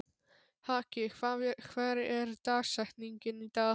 Haki, hver er dagsetningin í dag?